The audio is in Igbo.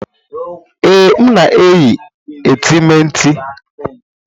Ee, m na-eyi etemeete.